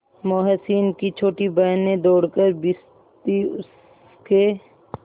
मोहसिन की छोटी बहन ने दौड़कर भिश्ती उसके